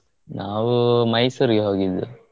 ನಾವು Mysore ಇಗೆ ಹೋಗಿದ್ದು.